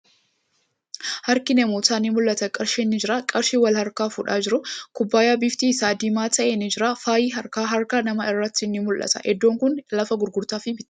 Harki namootaa ni mul'ata. Qarshiin ni jira. Qarshii wal harkaa fuudhaa jiru. Kubbaayyaa bifti isaa diimaa ta'e ni jira. Faayi harkaa, harka namaa irratti ni mul'ata. Iddoon kuni lafa gurgurtaa fi bittaati.